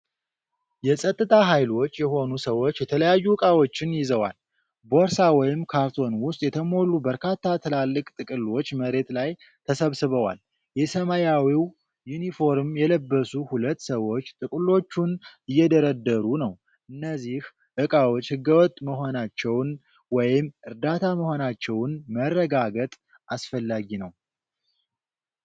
የጸጥታ ኃይሎች የሆኑ ሰዎች የተለያዩ ዕቃዎችን ይዘዋል። ቦርሳ ወይም ካርቶን ውስጥ የተሞሉ በርካታ ትላልቅ ጥቅሎች መሬት ላይ ተሰብስበዋል። የሰማያዊ ዩኒፎርም የለበሱ ሁለት ሰዎች ጥቅሎቹን እየደረደሩ ነው። እነዚህ ዕቃዎች ህገወጥ መሆናቸውን ወይም እርዳታ መሆናቸውን መረጋገጥ አስፈላጊ ነው።